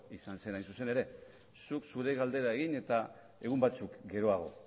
izan zen hain zuzen ere zuk zure galdera egin eta egun batzuk geroago